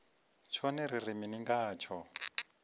tshone ri ri mini ngatsho